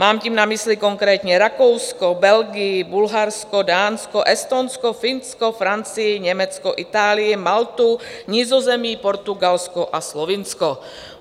Mám tím na mysli konkrétně Rakousko, Belgii, Bulharsko, Dánsko, Estonsko, Finsko, Francii, Německo, Itálii, Maltu, Nizozemí, Portugalsko a Slovinsko.